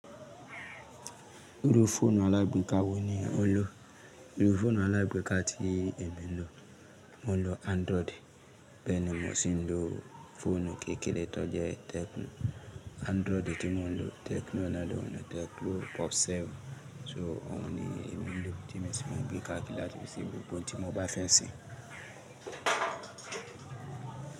Irú fóònù aláìgbéká wo ni ò ń lò? Irú fóònù aláìgbéká tí èmi lò, mo ń lò Android. Bẹ́ẹ̀ ni mo sì ń lò fóònù kékeré tó jẹ́ Tecno Android tí mo ń lò, Tecno náà ni Tecno Pop Seven. So òhun ni ìbínú tí mo sì ma gbé káàkiri láti fi ṣe gbogbo ohun tí mo bá fẹ́ ṣe.